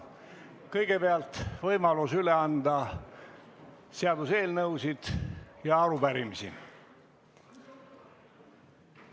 Kõigepealt on võimalus üle anda seaduseelnõusid ja arupärimisi.